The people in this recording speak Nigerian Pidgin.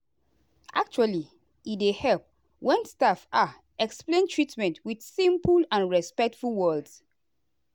actually e dey help when staff ah explain treatment with simple and respectful words.